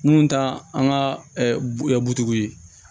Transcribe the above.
Mun ta an ka butigiw ye